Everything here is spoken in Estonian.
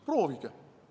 Proovige!